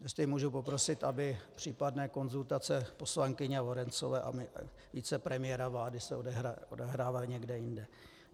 Jestli můžu poprosit, aby případné konzultace poslankyně Lorencové a vicepremiéra vlády se odehrávaly někde jinde.